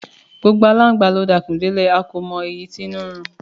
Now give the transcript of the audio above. Gbogbo aláǹgbà ló dakùn délẹ̀, a kò mọ èyí tínú ń ro.